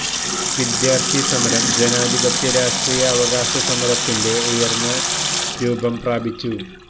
വിദ്യാർത്ഥി സമരം ജനാധിപത്യ രാഷ്ട്രീയ അവകാശ സമരത്തിന്റെ ഉയർന്ന രൂപം പ്രാപിച്ചു